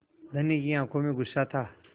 धनी की आँखों में गुस्सा था